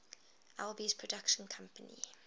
alby's production company